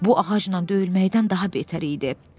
Bu ağacla döyülməkdən daha betər idi.